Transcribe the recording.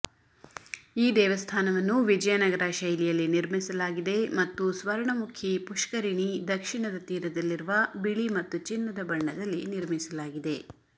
ಈ ದೇವಸ್ಥಾನವನ್ನು ವಿಜಯನಗರ ಶೈಲಿಯಲ್ಲಿ ನಿರ್ಮಿಸಲಾಗಿದೆ ಮತ್ತು ಸ್ವರ್ಣಮುಖಿ ಪುಷ್ಕರಿಣಿ ದಕ್ಷಿಣದ ತೀರದಲ್ಲಿರುವ ಬಿಳಿ ಮತ್ತು ಚಿನ್ನದ ಬಣ್ಣದಲ್ಲಿ ನಿರ್ಮಿಸಲಾಗಿದೆ